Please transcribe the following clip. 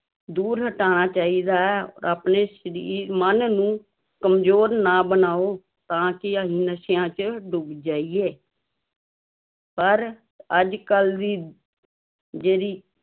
ਦੂਰ ਹਟਾਉਣਾ ਚਾਹੀਦਾ ਹੈ ਆਪਣੇ ਸਰੀ ਮਨ ਨੂੰ ਕੰਮਜ਼ੋਰ ਨਾ ਬਣਾਓ ਤਾਂ ਕਿ ਅਸੀਂ ਨਸ਼ਿਆਂ ਚ ਡੁੱਬ ਜਾਈਏ ਪਰ ਅੱਜ ਕੱਲ੍ਹ ਦੀ ਜਿਹੜੀ